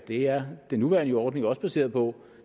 det er den nuværende ordning jo også baseret på